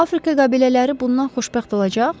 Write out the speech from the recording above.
Afrika qəbilələri bundan xoşbəxt olacaq?